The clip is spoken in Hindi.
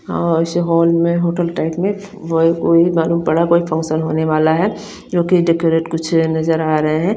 हा और इस होल में होटल टाइप में वोई एक ओई मालून पड़ा कोई फंक्शन होने वाला है जो की इन्ड़ेकोरेट कुछ नज़र आ रहे है।